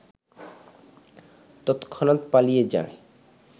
তৎক্ষণাত পালিয়ে যায়